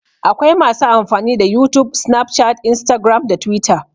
Akwai masu amfani da youtube, snapchat, instagram da twitter